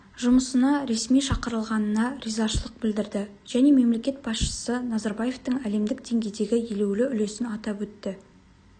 жұмысына ресми шақырылғанына ризашылық білдірді және мемлекет басшысы назарбаевтың әлемдік деңгейдегі елеулі үлесін атап өтті